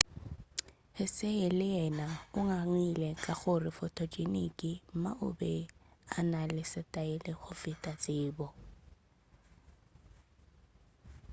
hsieh le yena o ngangile ka gore photogenic ma o be a na le setaele go feta tsebo